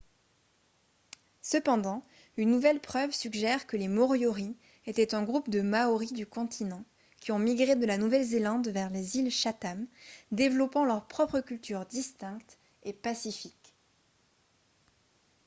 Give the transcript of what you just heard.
cependant une nouvelle preuve suggère que les moriori étaient un groupe de maoris du continent qui ont migré de la nouvelle-zélande vers les îles chatham développant leur propre culture distincte et pacifique